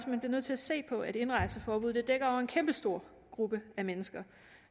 nødt til at se på at et indrejseforbud dækker over en kæmpestor gruppe af mennesker